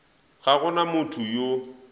ga go na motho yo